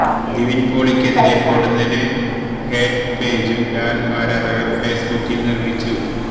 നിവിൻ പോളിക്കെതിരെ പൊടുന്നനെ ഹേറ്റ് പേജും ലാൽ ആരാധകർ ഫേസ്ബുക്കിൽ നിർമ്മിച്ചു